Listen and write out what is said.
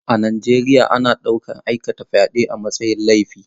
A Najeriya ana ɗaukar aikata fyade a matsayin laifi.